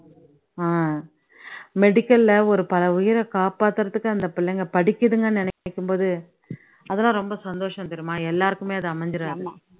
அஹ் medical ல ஒரு பல உயிரை காப்பாத்துறதுக்கு அந்த பிள்ளைங்க படிக்குதுங்கன்னு நினைக்கும் போது அதெல்லாம் ரொம்ப சந்தோஷம் தெரியுமா எல்லாருக்குமே அது அமைஞ்சுடாது